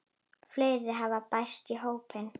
Fleiri hafa bæst í hópinn.